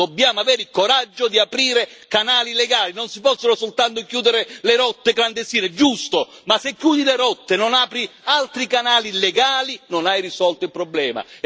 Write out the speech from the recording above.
Dobbiamo avere il coraggio di aprire canali legali non si possono soltanto chiudere le rotte clandestine. È giusto, ma se chiudi le rotte e non apri altri canali legali, non hai risolto il problema.